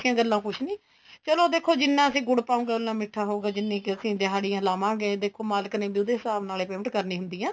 ਗੱਲਾ ਕੁੱਝ ਨੀ ਚਲੋ ਦੇਖੋ ਜਿੰਨਾ ਅਸੀਂ ਗੁੜ ਪਾਉਗੇ ਉਨਾ ਮੀਠਾ ਹੋਊਗਾ ਜਿੰਨੀ ਕ ਅਸੀਂ ਦਿਹਾੜੀਆਂ ਲਵਾਂਗੇ ਦੇਖੋ ਮਾਲਕ ਨੇ ਵੀ ਉਹਦੇ ਹਿਸਾਬ ਨਾਲ payment ਕਰਨੀ ਹੁੰਦੀ ਏ